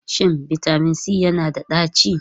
Shin bitamin C yana da ɗaci?